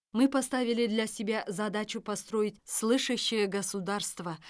мы поставили для себя задачу построить слышащее государство